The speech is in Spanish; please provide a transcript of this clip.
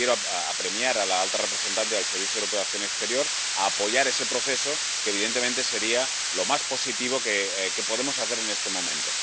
Y yo quiero a apremiar a la alta representante y al Servicio Europeo de Acción Exterior a apoyar ese proceso, lo que, evidentemente, sería lo más positivo que podemos hacer en este momento.